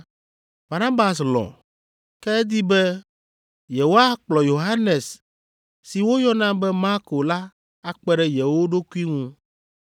Barnabas lɔ̃, ke edi be yewoakplɔ Yohanes si woyɔna be Marko la akpe ɖe yewo ɖokui ŋu.